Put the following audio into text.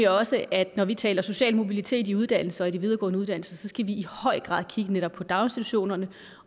også at når vi taler social mobilitet i uddannelse i de videregående uddannelser skal vi i høj grad kigge på netop daginstitutionerne